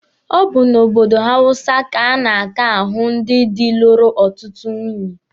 Ọ bụ n'obodo ndị hawụsa ka a na-aka ahụ ndị dị lụrụ ọtụtụ nwunye.